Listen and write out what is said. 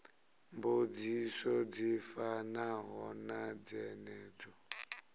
mbudziso dzi fanaho na dzenedzo